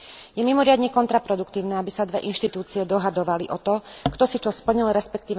Je mimoriadne kontraproduktívne, aby sa dve inštitúcie dohadovali o to, kto si čo splnil, resp.